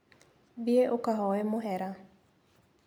Thiĩ ũkahooe mũhera.